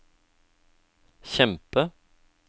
kjempe